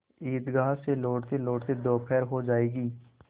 ईदगाह से लौटतेलौटते दोपहर हो जाएगी